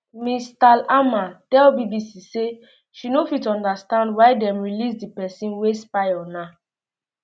ms thalhammer tell bbc say she no fit understand why dem release di um pesin wey spy on her